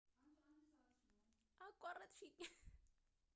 ከ 340 ሚሊዮን እስከ 500 ሚሊዮን ተናጋሪዎች የሚገመቱ ሲሆን 800 ሚሊዮን ያህል የሚሆኑት ሰዎች ቋንቋውን ይረዳሉ